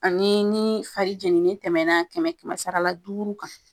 Ani ni fari jeni ni tɛmɛɛna kɛmɛ kɛmɛ sara la duuru kan.